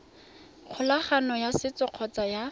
kgolagano ya setso kgotsa ya